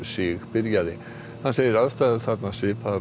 hann segir aðstæður þarna svipaðar og undanfarið